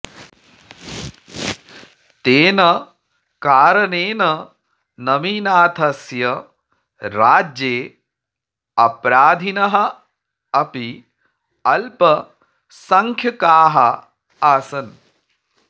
तेन कारणेन नमिनाथस्य राज्ये अपराधिनः अपि अल्पसङ्ख्यकाः आसन्